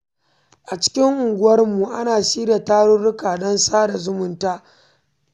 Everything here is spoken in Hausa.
A cikin unguwarmu, ana shirya tarurruka don sada zumunta da maƙwabta.